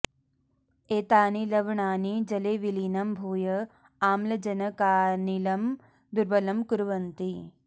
एतानि लवणानि जले विलीनं भूय आम्लजनकानिलं दुर्बलं कुर्वन्ति